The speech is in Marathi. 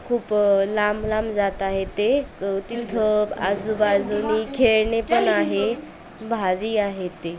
खूप लांब-लांब जात आहेत ते तिथं आजू-बाजूनी खेळणी पण आहे भाजी आहे ती.